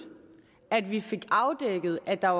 at vi fik afdækket at der